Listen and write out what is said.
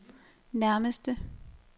nærmeste